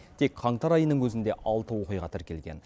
тек қаңтар айының өзінде алты оқиға тіркелген